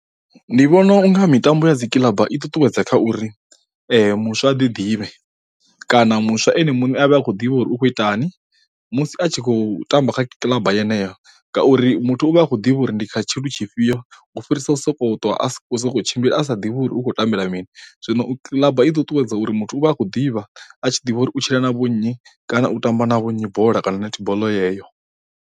Ndi vhona unga mitambo ya dzikiḽaba i ṱuṱuwedza kha uri muswa a ḓi ḓivhe, kana muswa ene muṋe a vhe a khou ḓivha uri u khou itani musi a tshi khou tamba kha kiḽaba yeneyo ngauri muthu u vha a khou ḓivha uri ndi kha tshilu tshifhio u fhirisa u sokou ṱwa a sokou tshimbila a sa ḓivhi uri u khou tambela mini, zwino kiḽaba i ḓo ṱuwedza uri muthu u vha a khou ḓivha a tshi ḓivha uri u tshila na vho nnyi kana u tamba na vhonnyi bola kana netball yeyo.